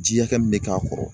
Ji hakɛ min bɛ k'a kɔrɔ.